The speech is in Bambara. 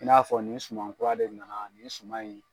I n'a fɔ nin suman kura de nana nin suman in